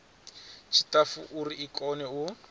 tshiṱafu uri i kone u